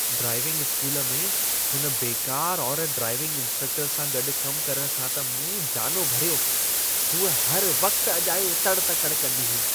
Driving school में, हुन बेकार औरत ड्राईविंग इंस्ट्रक्टर सां गॾु कमु करण सां त मूं जानो भरियो। हूअ हर वक़्ति अजायो तड़ि तकड़ि कंदी हुई।